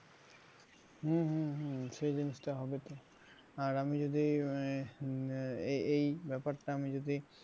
হম হম হম সেই জিনিসটা হবে তো আর আমি যদি আহ এই ব্যাপারটা আমি যদি